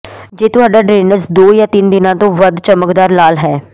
ਜੇ ਤੁਹਾਡਾ ਡਰੇਨੇਜ ਦੋ ਜਾਂ ਤਿੰਨ ਦਿਨਾਂ ਤੋਂ ਵੱਧ ਚਮਕਦਾਰ ਲਾਲ ਹੈ